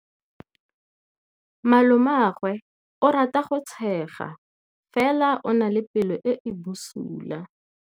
Malomagwe o rata go tshega fela o na le pelo e e bosula.